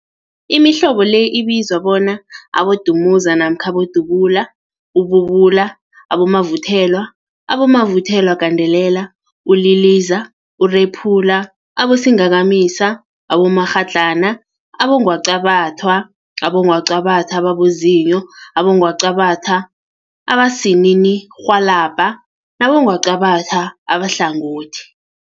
Imihlobo le ibizwa bona, abodumuza namkha abodubula, ububula, abomavuthelwa, abomavuthelwagandelela, uliliza, urephula, abosingakamisa, abomakghadlana, abongwaqabathwa, abongwaqabathwa ababozinyo, abongwaqabathwa abosininirhwalabha nabongwaqabatha abahlangothi.